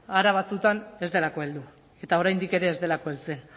hara batzuetan ez delako heldu eta oraindik ere ez delako heltzen